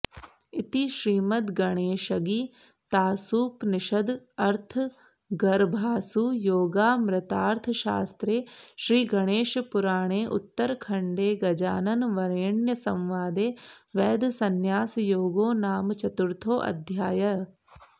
इति श्रीमद्गणेशगीतासूपनिषदर्थगर्भासु योगामृतार्थशास्त्रे श्रीगणेशपुराणे उत्तरखण्डे गजाननवरेण्यसंवादे वैधसंन्यासयोगो नाम चतुर्थोऽध्यायः